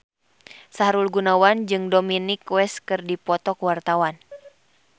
Sahrul Gunawan jeung Dominic West keur dipoto ku wartawan